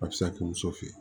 A bɛ se ka kɛ muso fe ye